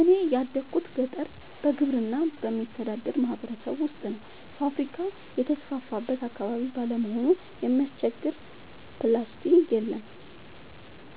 እኔ ያደጉት ገጠር በግብርና በሚተዳደር ማህበረሰብ ውስጥ ነው። ፋብሪካ የተስፋፋበት አካባቢ ባለመሆኑ የሚያስቸግር ፕላስቲ የለም